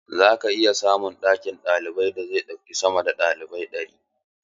Za a iya samun ɗakin karatun da zai ɗauki sama da ɗalibai ɗari.